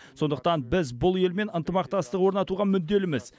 сондықтан біз бұл елмен ынтымақтастық орнатуға мүдделіміз